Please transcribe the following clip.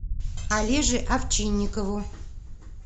олеже овчинникову